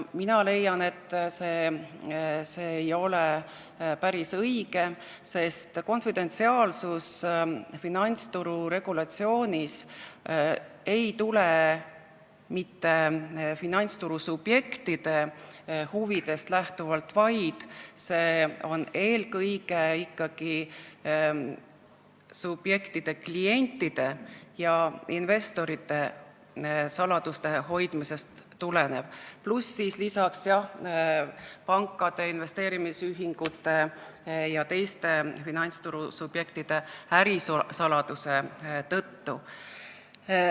Mina leian, et see ei ole päris õige, sest konfidentsiaalsus ei ole finantsturu regulatsiooni tulnud mitte finantsturu subjektide huvidest lähtuvalt, vaid see tuleneb eelkõige ikkagi klientide ja investorite saladuste hoidmise vajadusest, pluss, jah, pankade, investeerimisühingute jt finantsturu subjektide ärisaladuse hoidmise vajadusest.